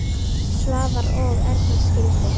Svavar og Erna skildu.